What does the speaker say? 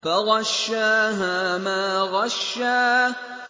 فَغَشَّاهَا مَا غَشَّىٰ